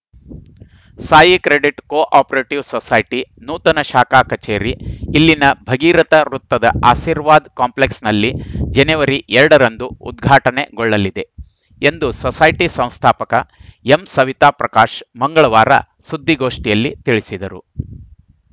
Sai credit cooperative society ನೂತನ ಶಾಖಾ ಕಚೇರಿ ಇಲ್ಲಿನ ಭಗೀರಥ ವೃತ್ತದ ಆಶೀರ್ವಾದ ಕಾಂಪ್ಲೆಕ್ಸ್‌ನಲ್ಲಿ ಜನವರಿ ಎರಡ ರಂದು ಉದ್ಘಾಟನೆಗೊಳ್ಳಲಿದೆ ಎಂದು ಸೊಸೈಟಿ ಸಂಸ್ಥಾಪಕ ಎಂಸವಿತಾ ಪ್ರಕಾಶ್‌ ಮಂಗಳವಾರ ಸುದ್ದಿಗೋಷ್ಠಿಯಲ್ಲಿ ತಿಳಿಸಿದರು